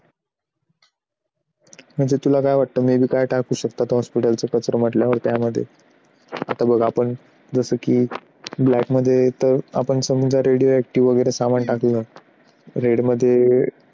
म्हणजे तुला काय वाटतं? may be काहीच टाकू शकतात. hospital चा कचरा म्हटल्यावर त्यामध्ये आता बघ आपण जसं की black मध्ये येतो. आपण radioactive सामान टाकलं red मध्ये